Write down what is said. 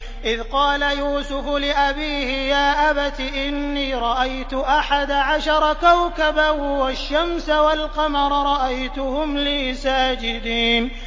إِذْ قَالَ يُوسُفُ لِأَبِيهِ يَا أَبَتِ إِنِّي رَأَيْتُ أَحَدَ عَشَرَ كَوْكَبًا وَالشَّمْسَ وَالْقَمَرَ رَأَيْتُهُمْ لِي سَاجِدِينَ